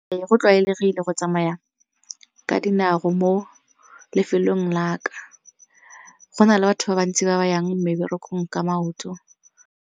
Ee go tlwaelegile go tsamaya ka dinao mo lefelong la ka go na le batho ba bantsi ba ba yang mo meberekong ka maoto.